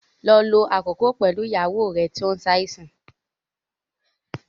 Lọ lo àkókò pẹ̀lú ìyàwó rẹ tí ó ń ṣàìsàn